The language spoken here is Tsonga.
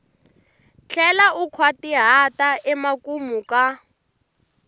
tlhela u nkhwatihata emakumu ka